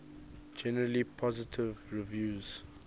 generally positive reviews